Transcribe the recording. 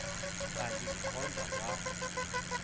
kanti ndikhonza kwa